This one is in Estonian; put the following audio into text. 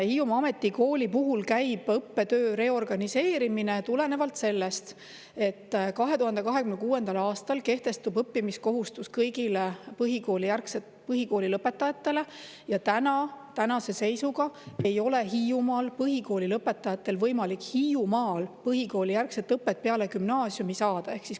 Hiiumaa Ametikooli puhul käib õppetöö reorganiseerimine tulenevalt sellest, et 2026. aastal kehtestub õppimiskohustus kõigile põhikooli lõpetajatele, ja tänase seisuga ei ole Hiiumaal põhikooli lõpetajatel võimalik Hiiumaal põhikoolijärgset õpet peale gümnaasiumi saada.